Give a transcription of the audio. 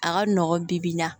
A ka nɔgɔn bi-bi in na